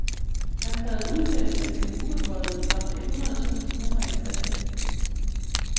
Han krævede udtalelserne kendt ubeføjede samt et hundrede tusind kroner i erstatning.